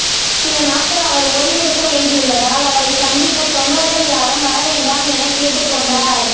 சில நாட்கள் அவர் ஓய்வெடுக்க வேண்டியுள்ளதால் அவரை சந்திக்க தொண்டர்கள் யாரும் வரவேண்டாம் என கேட்டுக்கொண்டார்